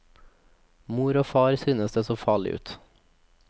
Mor og far synes det så farlig ut.